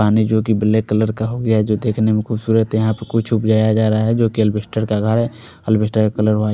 पानी जो की ब्लैक कलर का हो गया है जो देखने में खुबसूरत है यहाँ पर कुछ उगाया जा रहा है जो की एल्बेस्टर का घर है --